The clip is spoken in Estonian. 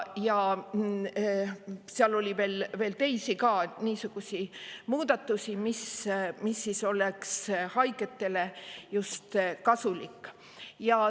Seal on veel teisi niisuguseid muudatusi, mis on just haigetele kasulikud.